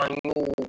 An y'o